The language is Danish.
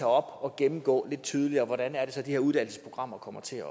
op og gennemgå lidt tydeligere hvordan de her uddannelsesprogrammer kommer til